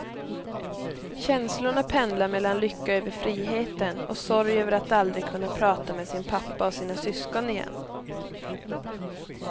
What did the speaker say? Känslorna pendlar mellan lycka över friheten, och sorg över att aldrig kunna prata med sin pappa och sina syskon igen.